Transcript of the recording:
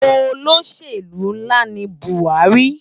Ólóṣélú nlá ni Buari